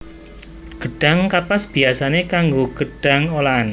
Gedhang kapas biyasané kanggo gedhang olahan